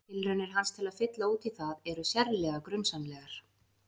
Tilraunir hans til að fylla út í það eru sérlega grunsamlegar.